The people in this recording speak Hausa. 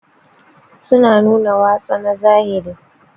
Su na nuna watsa na zahiri